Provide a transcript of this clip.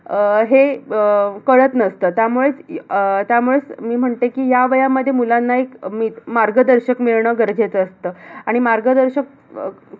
अह हे अह कळत नसतं. त्यामुळेच अह त्यामुळेच मी म्हणते की ह्या वयामध्ये मुलांना एक मी मार्गदर्शक मिळणं गरजेचं असतं. आणि मार्गदर्शक अह